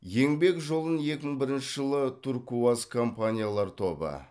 еңбек жолын екі мың бірінші жылы туркуаз компаниялар тобы